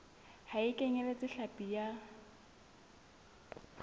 ha e kenyeletse hlapi ya